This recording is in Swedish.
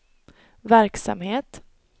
verksamhet